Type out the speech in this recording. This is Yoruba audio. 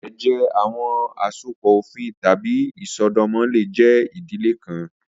Ẹjẹ, awọn asopọ ofin tabi isọdọmọ le jẹ idile kan